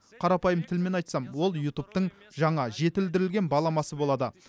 қарапайым тілмен айтсам ол ютубтың жаңа жетілдірілген баламасы болады